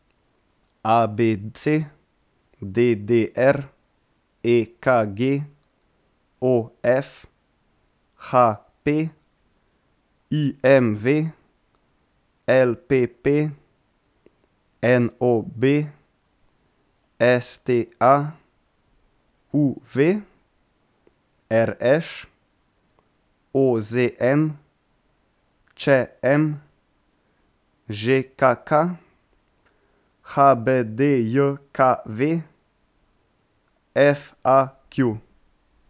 A B C; D D R; E K G; O F; H P; I M V; L P P; N O B; S T A; U V; R Š; O Z N; Č M; Ž K K; H B D J K V; F A Q.